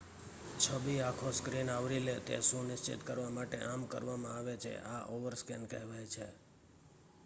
છબી આખો સ્ક્રીન આવરી લે તે સુનિશ્ચિત કરવા માટે આમ કરવામાં આવે છે આ ઓવરસ્કૅન કહેવાય છે